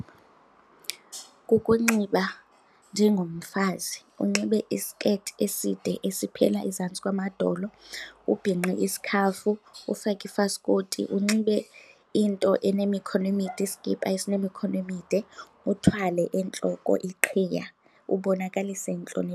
Kukunxiba njengomfazi unxibe isiketi eside esiphila ezantsi kwamadolo, ubhinqe isikhafu, ufake ifaskoti. Unxibe into enemikhono emide, iskipa esinemikhono emide, uthwale entloko iqhiya ubonakalise intloni.